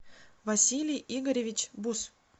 василий игоревич бус